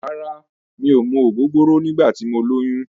Rárá, mi ò mu ògógóró nígbà tí mo lóyún.